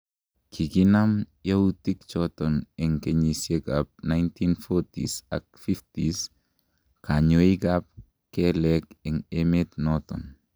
kikinam youtik choton en kenyisiek ab 1940s ak 50s kanyoik ab kelek en emet noton